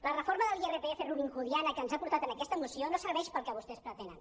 la reforma de l’irpf robinhoodiana que ens ha portat en aquesta moció no serveix pel que vostès pretenen